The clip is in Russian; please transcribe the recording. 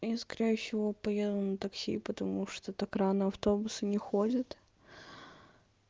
и скорее всего поеду на такси и потому что так рано автобусы не ходят